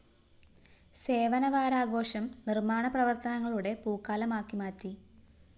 സേവനവാരാഘോഷം നിര്‍മ്മാണ പ്രവര്‍ത്തനങ്ങളുടെ പൂക്കാലമാക്കി മാറ്റി